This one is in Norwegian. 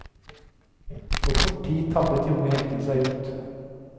På kort tid tabbet de unge heltene seg ut.